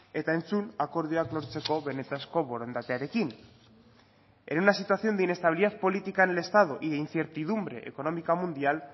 eta entzun akordioak lortzeko benetako borondatearekin en una situación de inestabilidad política en el estado y de incertidumbre económica mundial